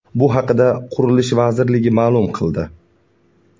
Bu haqda Qurilish vazirligi ma’lum qildi .